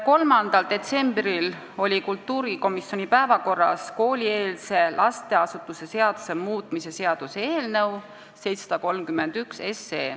3. detsembril oli kultuurikomisjoni istungi päevakorras koolieelse lasteasutuse seaduse muutmise seaduse eelnõu 731.